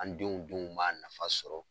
An denw denw b'a nafa sɔrɔ